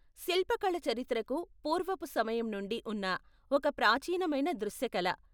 శిల్పకళ చరిత్రకు పూర్వపు సమయం నుండి ఉన్న ఒక ప్రాచీనమైన దృశ్యకళ.